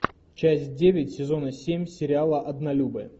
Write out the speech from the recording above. часть девять сезона семь сериала однолюбы